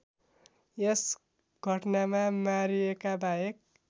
यस घटनामा मारिएकाबाहेक